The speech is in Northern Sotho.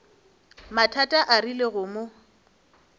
mathata a rile go mo